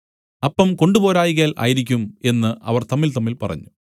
അപ്പം കൊണ്ടുപോരായ്കയാൽ ആയിരിക്കും എന്നു അവർ തമ്മിൽതമ്മിൽ പറഞ്ഞു